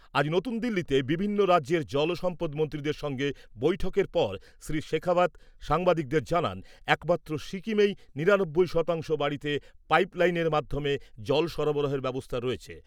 আজ নতুন দিল্লিতে বিভিন্ন রাজ্যের জল সম্পদ মন্ত্রীদের সঙ্গে বৈঠকের পর শ্রী শেখাওয়াত সাংবাদিকদের জানান, একমাত্র সিকিমেই নিরানব্বই শতাংশ বাড়িতে পাইপ লাইনের মাধ্যমে জল সরবরাহের ব্যবস্থা রয়েছে।